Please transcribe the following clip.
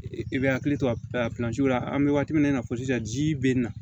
I bɛ hakili to a la pilansiw la an bɛ waati min na i n'a fɔ sisan ji bɛ na